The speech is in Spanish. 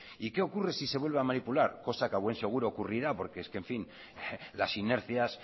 y qué ocurre si se vuelve a manipular cosa que a buen seguro ocurrirá porque es que en fin las inercias